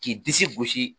K'i disi gosi